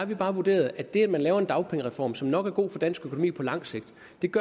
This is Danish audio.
bare vurderet at det at man laver en dagpengereform som nok er god for dansk økonomi på lang sigt